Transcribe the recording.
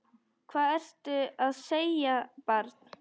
Hvað ertu að segja, barn?